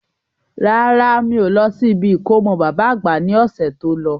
Rárá, mi ò lọ sí ibi ìkómọ baba àgbà ní ọ̀sẹ̀ tó lọ.